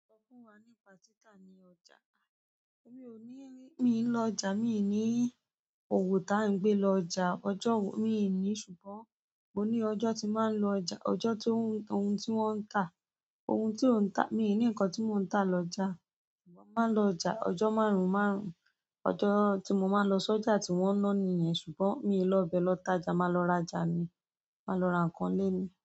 Sọ fún wa nípa títa ní ọjà. Mi ò ní, mi ń lọ ọjà, mi ní òwò tá ń gbé lọ ọjà ọjọ́ wo, mi ní ṣùgbọ́n mo ní ọjọ́ tí má ń lọ ọjà, ọjọ́ tí ohun tí wọ́n ń ta, ohun tí o ń tà, mi ò ní nǹkan tí mò ń tà lọ ọjà. Mo máa ń lọ ọjà ọjọ́ márùn-ún márùn-ún. Ọjọ́ tí mo máa ń lọ sọ́jà tí wọ́n ń ná ni yẹn, ṣùgbọ́n mi i lọ bẹ lọ tája, mà lọ raja ni, mà lọ ra ǹkan lé mi.